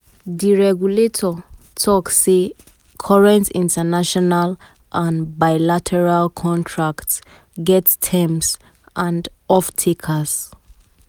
di regulator tok say current international and bilateral contracts get terms get terms and off-takers